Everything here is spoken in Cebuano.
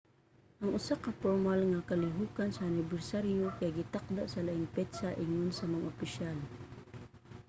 ang usa ka pormal nga kalihokan sa anibersaryo kay gitakda sa laing petsa ingon sa mga opisyal